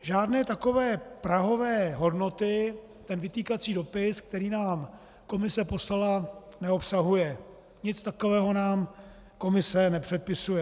Žádné takové prahové hodnoty ten vytýkací dopis, který nám Komise poslala, neobsahuje, nic takového nám Komise nepředpisuje.